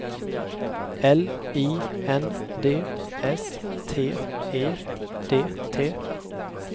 L I N D S T E D T